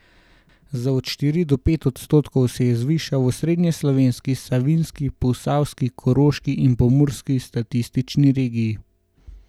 Za od štiri do pet odstotkov se je zvišal v osrednjeslovenski, savinjski, posavski, koroški in pomurski statistični regiji.